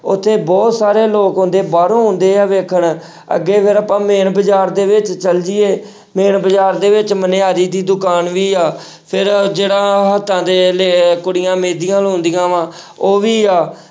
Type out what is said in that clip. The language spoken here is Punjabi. ਉੱਥੇ ਬਹੁਤ ਸਾਰੇ ਲੋਕ ਆਉਂਦੇ ਬਾਹਰੋਂ ਆਉਂਦੇ ਆ ਵੇਖਣ ਅੱਗੇ ਫਿਰ ਆਪਾਂ main ਬਾਜ਼ਾਰ ਦੇ ਵਿੱਚ ਚਲੇ ਜਾਈਏ main ਬਾਜ਼ਾਰ ਦੇ ਵਿੱਚ ਮਨਿਆਰੀ ਦੀ ਦੁਕਾਨ ਵੀ ਆ ਫਿਰ ਜਿਹੜਾ ਹੱਥਾਂ ਤੇ ਲਿ~ ਕੁੜੀਆਂ ਮਹਿੰਦੀਆਂ ਲਾਉਂਦੀਆਂ ਵਾਂ ਉਹ ਵੀ ਆ।